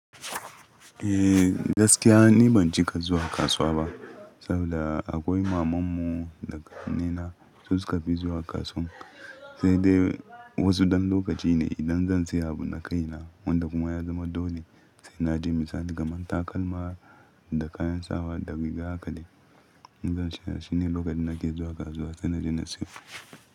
Eh gaskiya ni ban cika zuwa kasuwa ba saboda akwai mamanmu da Ƙannena su suka fi zuwa kasuwan sai dai wasu ɗan lokaci ne idan zan siya abu na kai na wanda kuma ya zama dole sai na je misali kamar takalma da kayan sawa da riga haka dai in zan siya shine lokacin nake zuwa kasuwa sai na je na siya.